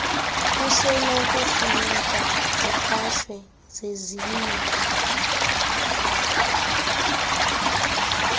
kusenokufuneka zikhatshwe zezinye